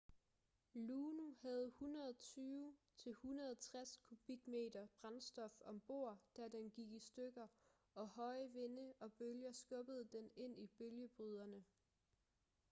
luno havde 120-160 kubikmeter brændstof om bord da den gik i stykker og høje vinde og bølger skubbede den ind i bølgebryderne